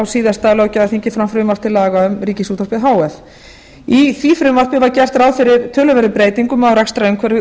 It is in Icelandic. síðasta löggjafarþingi fram frumvarp til laga um ríkisútvarpið h f í því frumvarpi var gert ráð fyrir töluverðum breytingum á rekstrarumhverfi